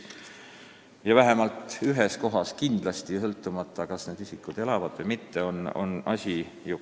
Vähemalt ühes kohas kindlasti on toimunu õigesti kajastamata: need on meie ajalooõpikud.